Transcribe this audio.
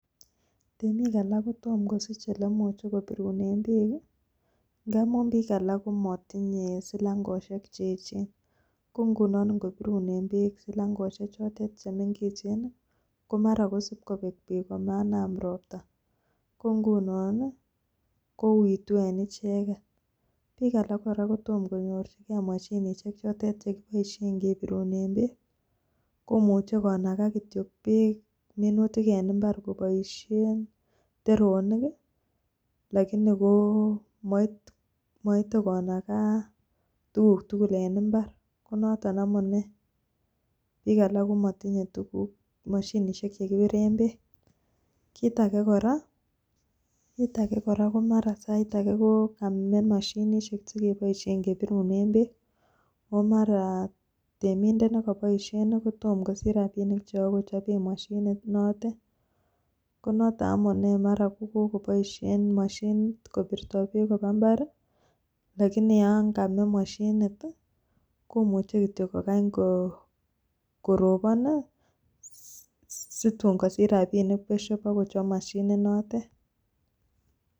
Temik alak kotom kosich ole imuche kobirunen beek ngamun biikalak komotinye silangoshek cheeechen. Ko nguno ngobirunen beek singaloshechoton che mengechen, ko mara kosib kobek beek komaanam ropta. Kongunon kouitu en icheget. Biik alak kotomkonyorjige moshinishek choto che kiboishen kebirunen beek. Komuche konaga kityo beek minutik en mbar koboishen , teronik lakini ko moite konaga tuguk tugul en mbar. Ko noton amune. Biik alak ko motinye turuk, moshinishek che kibiren beek. Kiit age kora ko mara sait age ko kame moshinishek che keboishen kebirunen beek. Ago mara temindet ne koboishen ko mara tomo kosich rabinik cheboke kechoben moshininotet. Ko noto amune mara kogoboishen , moshinet kobirto beek koba mbar lakini yon kame moshinit komuche kogany kityo korobon situn kosich rabinik besyo kobakochob moshinit notet.